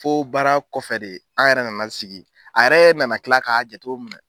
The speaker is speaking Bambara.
Fo baara kɔfɛ de an yɛrɛ nana sigi a yɛrɛ nana kila k'a jatew minɛ